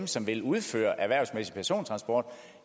som vil udføre erhvervsmæssig persontransport